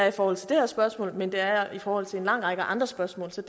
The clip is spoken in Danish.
i forhold til det her spørgsmål men det er jeg også i forhold til en lang række andre spørgsmål så